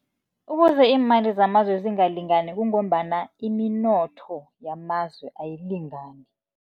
Ukuze iimali zamazwe zingalingani, kungombana iminotho yamazwe ayilingani.